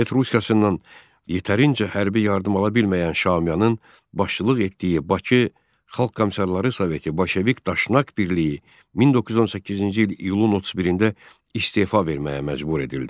Sovet Rusiyasından yetərincə hərbi yardım ala bilməyən Şaumyanın başçılıq etdiyi Bakı Xalq Komissarları Soveti Bolşevik Daşnak birliyi 1918-ci il iyunun 31-də istefa verməyə məcbur edildi.